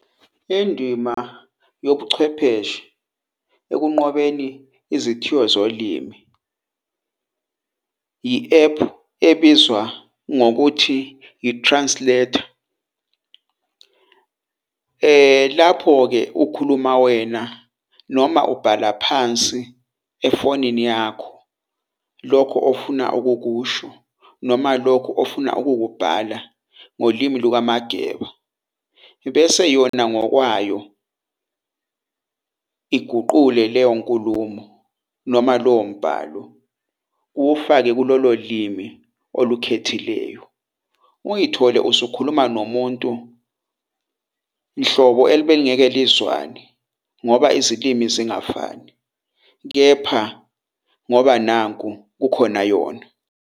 Indima yobuchwepheshe ekunqobeni izithiyo zolimi i-App ebizwa ngokuthi i-Translater. Lapho-ke ukhuluma wena noma ubhala phansi efonini yakho, lokho ofuna ukukusho, noma lokhu ofuna ukukubhala ngolimi lukaMageba, ibese yona ngokwayo , iguqule leyo nkulumo noma lowo mbhalo uwufake kulolo limi olukhethileyo. Uyithole usukhuluma nomuntu, nhlobo ebelingeke lizwane ngoba izilimi zingafani. Kepha ngoba nanku kukhona yona.